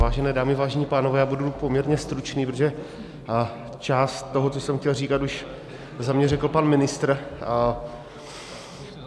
Vážené dámy, vážení pánové, já budu poměrně stručný, protože část toho, co jsem chtěl říkat, už za mě řekl pan ministr.